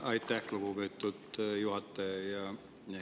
Aitäh, lugupeetud juhataja!